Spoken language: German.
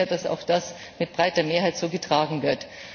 Ich freue mich sehr, dass auch das mit breiter Mehrheit so getragen wird.